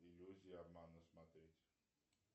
иллюзия обмана смотреть